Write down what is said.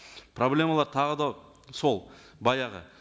проблемалар тағы да сол баяғы